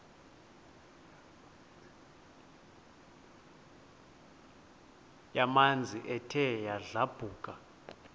yamanzi ethe yadlabhuka